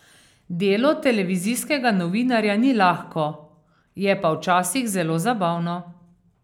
Delo televizijskega novinarja ni lahko, je pa včasih zelo zabavno.